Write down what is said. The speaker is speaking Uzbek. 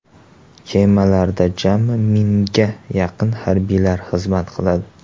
Kemalarda jami mingga yaqin harbiy xizmat qiladi.